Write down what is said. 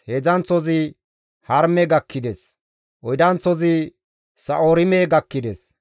Heedzdzanththozi Harime gakkides; Oydanththozi Sa7oorime gakkides.